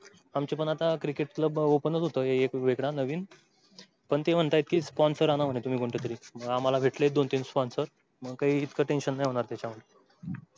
आमच पण अत्ता क्रिकेट club open होत एक वेगळा नवीन, पण ते म्हणतंय कि sponsor अना म्हण तुम्ही कोन तरी, आमाला भेटलय दोन तीन sponsor मग काय इतकं tension नाही होणार.